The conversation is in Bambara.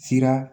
Sira